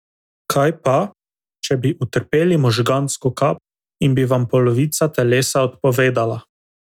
Kaj pa, če bi utrpeli možgansko kap in bi vam polovica telesa odpovedala?